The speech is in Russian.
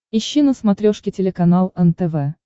ищи на смотрешке телеканал нтв